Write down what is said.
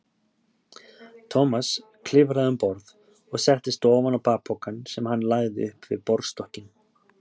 Thomas klifraði um borð og settist ofan á bakpokann sem hann lagði upp við borðstokkinn.